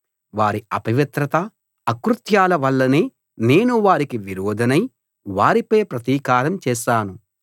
వారి అపవిత్రత అకృత్యాల వల్లనే నేను వారికి విరోధినై వారిపై ప్రతికారం చేశాను